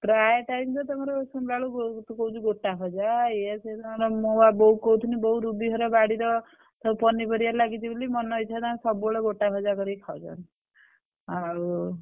ପ୍ରାୟ time ତ ତମର ଶୁଣିଲା ବେଳକୁ ବୋଉକୁ ତୁ କହୁଛୁ ଗୋଟା ଭଜା ଇଏ ସିଏ ମୁଁ ବା ବୋଉକୁ କହୁଥିଲି ରୁବି ଘର ବାଡିରେ ପନିପରିବା ଲାଗିଛି ବୋଲି ମନ ଇଚ୍ଛା ତାଙ୍କର ସବୁ ବେଳେ ଗୋଟା ଭଜା କରିକି ଖାଉଛନ୍ତି ଆଉ।